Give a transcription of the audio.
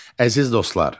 Əziz dostlar.